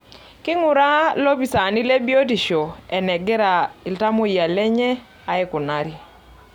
Keinguraa lopisaani le biotisho enagira iltamoyia lenye aikunari.